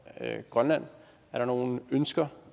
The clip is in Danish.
grønland er der nogen ønsker